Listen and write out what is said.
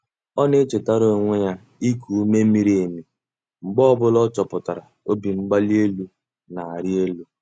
Ọ na-echetara onwe ya iku ume miri emi mgbe ọ bụla ọ chọpụtara obimgbalienu na-arị elu.